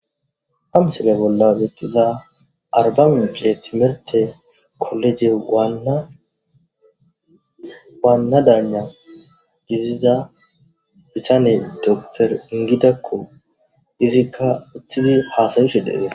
hamsile bolla ettiza arba mice timerte kolleje gaannadana giziza bichane dokter ingidakko izikka uthidi haasawisheddheede